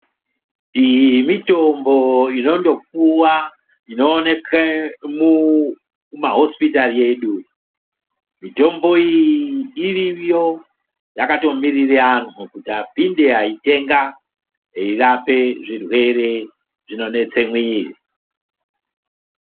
Iyi mitombo inondopuwa inooneke mumahosipitari edu, mitombo iyi iriyo yakatomirire anhu kuti apinde aitenga eirape zvirwere zvinonetse muiri.